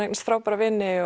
eignast frábæra vini